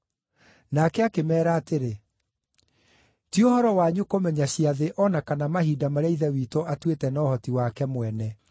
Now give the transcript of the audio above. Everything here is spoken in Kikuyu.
Nake akĩmeera atĩrĩ: “Ti ũhoro wanyu kũmenya ciathĩ o na kana mahinda marĩa Ithe witũ atuĩte na ũhoti wake mwene.